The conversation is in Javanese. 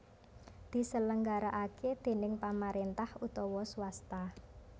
diselenggarakaké déning pamaréntah utawa swasta